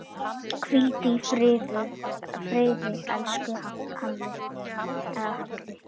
Hvíldu í friði, elsku Halli.